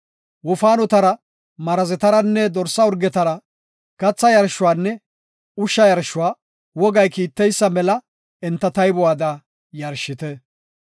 Wofaanotara, Marazetaranne dorsa urgetara katha yarshuwanne ushsha yarshuwa wogay kiitteysa mela enta taybuwada yarshite.